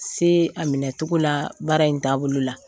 Se a minɛcogo la baara in taaboloa la.